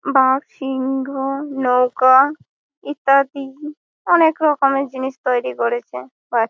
বাঘ সিংঘো নৌকা ইত্যাদি অনেক রকমের জিনিস তৈরি করেছে ।প্রায় --